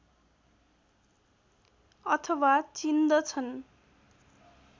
अथवा चिन्दछन्